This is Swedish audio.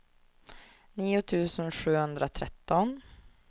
nio tusen sjuhundratretton